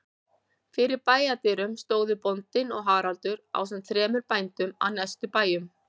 Fyrir bæjardyrum stóðu bóndinn og Haraldur ásamt þremur bændum af næstu bæjum.